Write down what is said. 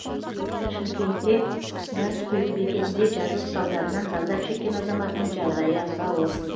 шымкентте газ құю бекетінде жарылыс салдарынан зардап шеккен азаматтың жағдайы аса ауыр